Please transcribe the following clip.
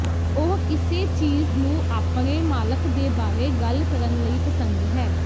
ਉਹ ਕਿਸੇ ਚੀਜ਼ ਨੂੰ ਆਪਣੇ ਮਾਲਕ ਦੇ ਬਾਰੇ ਗੱਲ ਕਰਨ ਲਈ ਪਸੰਦ ਹੈ